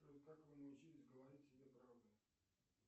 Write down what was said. джой как вы научились говорить себе правду